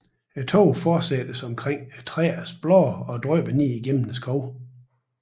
Tågen fortættes omkring træernes blade og drypper ned gennem skoven